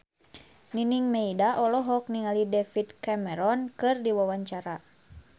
Nining Meida olohok ningali David Cameron keur diwawancara